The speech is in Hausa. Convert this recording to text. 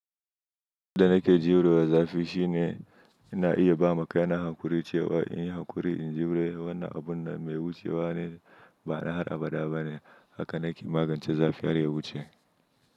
Yedda nake jurewa zafi shine ina iya ba ma kaina hankuri cewa in yi hankuri in jiyure wannan abun mai wucewa ne ba na har abada bane haka nake magance zafi har ya wuce.